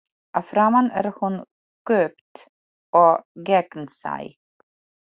Að framan er hún kúpt og gegnsæ.